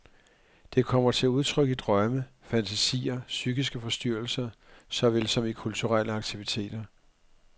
Det kommer til udtryk i drømme, fantasier, psykiske forstyrrelser såvel som i kulturelle aktiviteter.